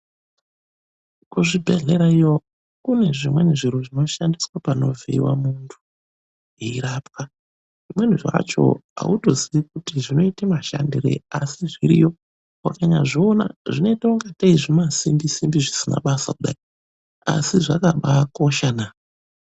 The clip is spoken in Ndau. Kuzvibhedhlera iyo kune zvimwei zviro zvinoshandiswa panovhiiwa mundu eyirapwa zvimweni zvacho ,autoziyi kuti zvinoita mushandireyiasi zviriyo ukazviona zvinoita kunga zvima simbi simbi zvisina basa asi zvakakosha naa!